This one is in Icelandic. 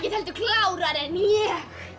klárari